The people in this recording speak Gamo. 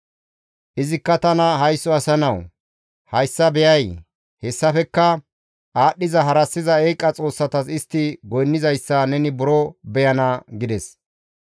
Izikka tana, «Haysso asa nawu! Hayssa beyay? Hessafekka aadhdhiza harassiza eeqa xoossatas istti goynnizayssa neni buro beyana» gides.